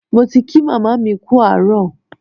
Mo ti kí màmá mi kú àárọ̀.